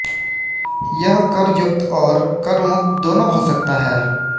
यह करयुक्त और करमुक्त दोनों हो सकता है